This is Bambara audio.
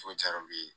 Foyi car'u ye